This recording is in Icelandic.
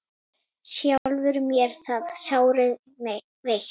sjálfur mér það sárið veitt